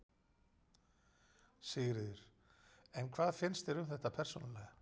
Sigríður: En hvað finnst þér um þetta persónulega?